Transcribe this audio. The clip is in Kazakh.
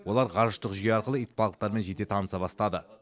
олар ғарыштық жүйе арқылы итбалықтармен жете таныса бастады